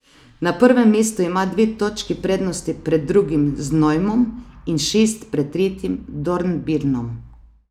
Na prvem mestu ima dve točki prednosti pred drugim Znojmom in šest pred tretjim Dornbirnom.